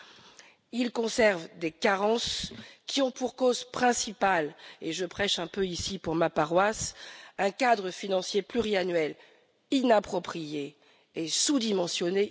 Le budget conserve des carences qui ont pour cause principale, et je prêche un peu ici pour ma paroisse, un cadre financier pluriannuel inapproprié et sous dimensionné.